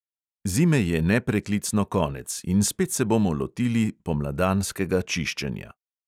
Zime je nepreklicno konec in spet se bomo lotili pomladanskega čiščenja.